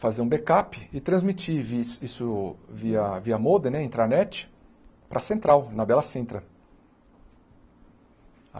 fazer um backup e transmitir vi isso via via modem, né, intranet, para a central, na Bela Sintra.